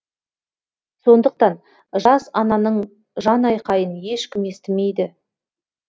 сондықтан жас ананың жанайқайын ешкім естімейді